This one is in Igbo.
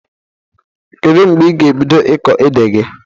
Kedụ mgbe ị ga ebido ịkọ ede gị?